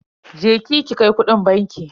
Je ki ki kai kudin banki.